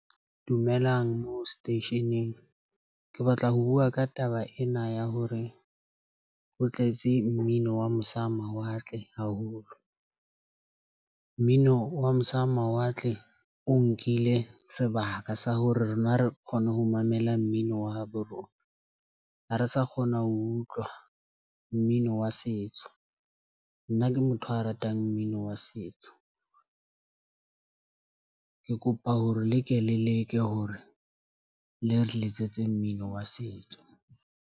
Dumelang moo seteisheneng, ke batla ho bua ka taba ena ya hore ho tletse mmino wa mosa ho mawatle haholo, mmino wa mosa ho mawatle. O nkile sebaka sa hore rona re kgone ho mamela mmino wa habo rona, ha re sa kgona ho utlwa mmino wa setso. Nna ke motho a ratang mmino wa setso, ke kopa hore le ke le leke hore le re letsetse mmino wa setso.